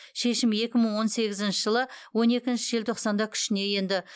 шешім екі мың он сегізінші жылы он екінші желтоқсанда күшіне енді